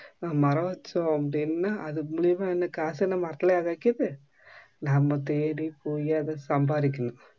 மரம் வச்சோம் அப்டினா அது மூலமா என்ன காசு என்ன மரத்துலயா காய்க்குது நம்ம தேடிப்போயி அத சம்பாதிக்கணும்